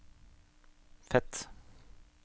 Fet